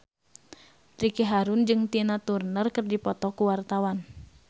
Ricky Harun jeung Tina Turner keur dipoto ku wartawan